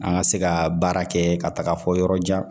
An ka se ka baara kɛ ka taga fɔ yɔrɔ jan